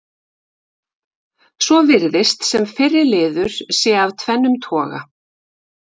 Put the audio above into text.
Svo virðist sem fyrri liður sé af tvennum toga.